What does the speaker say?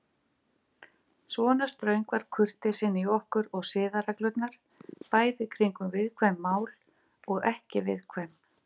Svona ströng var kurteisin í okkur og siðareglurnar, bæði kringum viðkvæm mál og ekki viðkvæm.